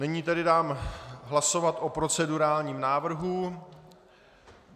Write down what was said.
Nyní tedy dám hlasovat o procedurálním návrhu.